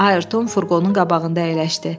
Ayarton furqonun qabağında əyləşdi.